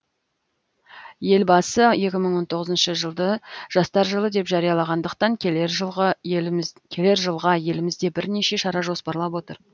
елбасы екі мың он тоғызыншы жылды жастар жылы деп жарияланғандықтан келер жылға елімізде бірнеше шара жоспарлап отыр